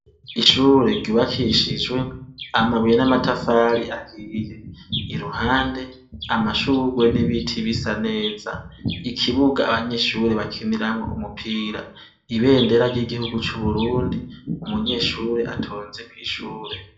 Ishure ryubakishijwe amabuye n’amatafari ahiye, iruhande amashugwe n’ibiti bisa neza. Ikibuga abanyeshure bakiniramwo umupira, ibendera ry’igihugu c’Uburundi, umunyeshure atonze kw’ishure.